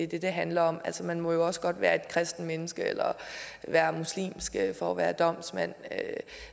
det det handler om altså man må jo også godt være et kristent menneske eller muslimsk for at være domsmand